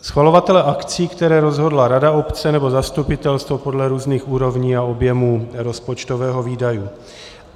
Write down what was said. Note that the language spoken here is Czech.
Schvalovatele akcí, které rozhodla rada obce nebo zastupitelstvo podle různých úrovní a objemů rozpočtového výdaje.